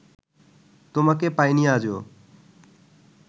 তোমাকে পাইনি আজো